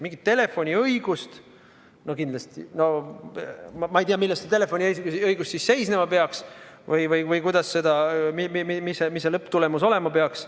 Mingisugune telefoniõigus – ma ei tea, milles see telefoniõigus siis seisnema peaks või mis see lõpptulemus olema peaks.